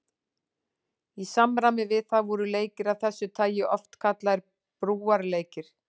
Í samræmi við það voru leikir af þessu tagi oft kallaðir brúarleikir.